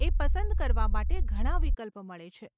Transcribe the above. એ પસંદ કરવા માટે ઘણાં વિકલ્પ મળે છે.